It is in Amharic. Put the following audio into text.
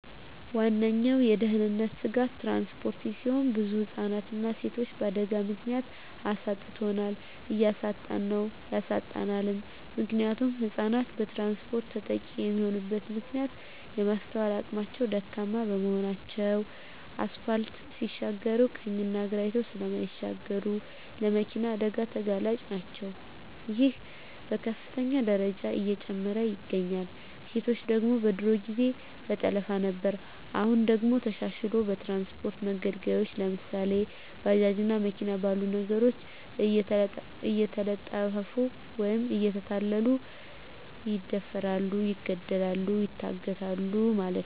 ዋነኛዉ የድህንነት ስጋት ትራንስፖርት ሲሆን ብዙ ህፃናትንና ሴቶችን በአደጋ ምክንያት አሳጥቶናል እያሳጣን ነዉ ያሳጣናልም። ምክንያቱም ህፃናት በትራንስፖርት ተጠቂ የሚሆኑበት ምክንያት የማስትዋል አቅማቸዉ ደካማ በመሆናቸዉ አስፓልት ሲሻገሩ ቀኝና ግራ አይተዉ ስለማይሻገሩ ለመኪና አደጋ ተጋላጭ ናቸዉ ይሄም በከፍተኛ ደረጃ እየጨመረ ይገኛል። ሴቶች ደግሞ በድሮ ጊዜ በጠለፋ ነበር አሁን ደግሞ ተሻሽልሎ በትራንስፖርት መገልገያወች ለምሳሌ፦ ባጃጅ እና መኪና ባሉ ነገሮች እየተጠለፊፉ ወይም እየተታለሉ ይደፈራሉ ይገደላሉ ይታገታሉ ማለት ነዉ።